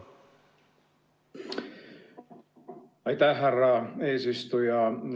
Aitäh, härra eesistuja!